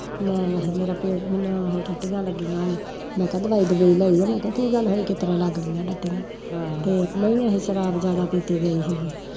ਮੈਂ ਆਖੈ ਮੇਰਾ ਪਿਓ ਟੱਟੀਆ ਲੱਗੀਆ ਓਹਨੇ, ਮੈਂ ਕਿਹਾ ਦਵਾਈ ਦੁਵਾਈ ਲਈ ਕੀ ਗੱਲ ਹੋਈ ਕਿਸਤਰਾਂ ਲੱਗ ਗੀਆ ਟੱਟੀਆ ਤੇ ਨਹੀਂ ਅਖੈ ਸ਼ਰਾਬ ਜਿਆਦਾ ਪੀਤੀ ਗਈ ਸੀ